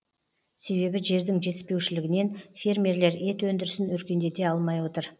себебі жердің жетіспеушілігінен фермерлер ет өндірісін өркендете алмай отыр